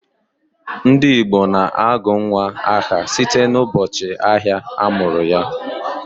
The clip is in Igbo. Ndị Igbo na-agụ nnwa aha site n'ụbọchị ahịa a mụrụ ya